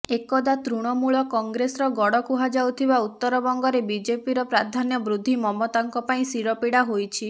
ଏକଦା ତୃଣମୂଳ କଂଗ୍ରେସର ଗଡ଼ କୁହାଯାଉଥିବା ଉତ୍ତରବଙ୍ଗରେ ବିଜେପିର ପ୍ରାଧାନ୍ୟ ବୃଦ୍ଧି ମମତାଙ୍କ ପାଇଁ ଶିରପୀଡ଼ା ହୋଇଛି